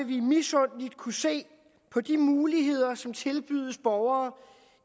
vi misundeligt kunne se på de muligheder som tilbydes borgere